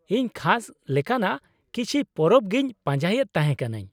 -ᱤᱧ ᱠᱷᱟᱥ ᱞᱮᱠᱟᱱᱟᱜ ᱠᱤᱪᱷᱤ ᱯᱚᱨᱚᱵ ᱜᱤᱧ ᱯᱟᱸᱡᱟᱭᱮᱫ ᱛᱟᱦᱮᱸ ᱠᱟᱹᱱᱟᱹᱧ ᱾